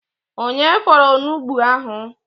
Onye fọrọ onugbụ ahụ?